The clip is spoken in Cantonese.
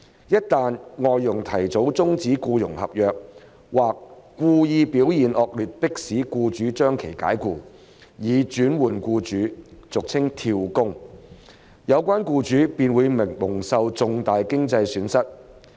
一旦外傭提早終止僱傭合約或故意表現惡劣迫使僱主將其解僱，以轉換僱主，有關僱主便會蒙受重大經濟損失。